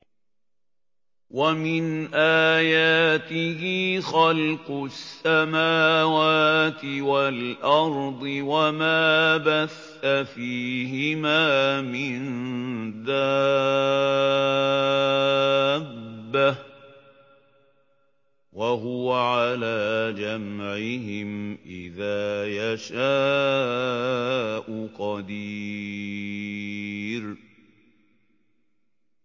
وَمِنْ آيَاتِهِ خَلْقُ السَّمَاوَاتِ وَالْأَرْضِ وَمَا بَثَّ فِيهِمَا مِن دَابَّةٍ ۚ وَهُوَ عَلَىٰ جَمْعِهِمْ إِذَا يَشَاءُ قَدِيرٌ